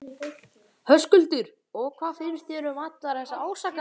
Höskuldur: Og hvað finnst þér um allar þessar ásakanir?